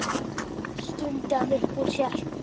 stundi hann upp úr sér.